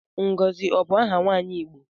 Ngozi ọ bu aha nwaanyi Igbo?